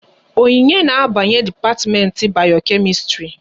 Onyinye na abanye dipatiment Bayo-Kemistri